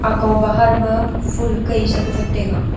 ekaw bahar ma phul kai chak wat taiga.